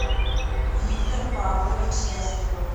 виктор павлович ястребов